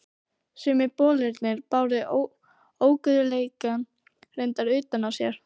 Sumir bolirnir báru óguðleikann reyndar utan á sér.